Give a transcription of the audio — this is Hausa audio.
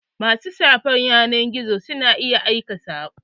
Ma su shafin yanar gizo na iya aika sako.